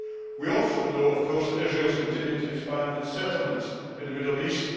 We also know, of course, that Israel has continued to expand its settlements in the Middle East.